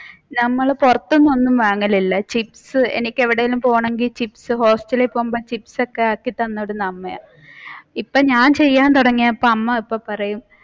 നമ്മൾ പുറത്തുനിന്ന് ഒന്നും വാങ്ങലോന്നുമില്ല ചിപ്സ് എനിക്ക് എവിടെയെങ്കിലും പോണമെങ്കിൽ ചിപ്സ് ഹോസ്റ്റലിൽ പോകുമ്പോൾ ചിപ്സ് ഒക്കെ ആക്കിത്തന്നിരുന്നത് അമ്മയായിരുന്നു ഇപ്പൊ ഞാൻ ചെയ്യാൻ തുടങ്ങിയപ്പോ അമ്മ ഇപ്പൊ പറയും